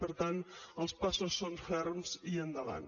per tant els passos són ferms i endavant